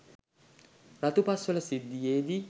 රතුපස්වල සිද්ධියේදී